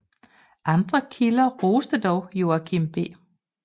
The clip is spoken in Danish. Andre kilder roste dog Joachim B